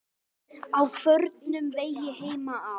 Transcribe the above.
Á förnum vegi heima á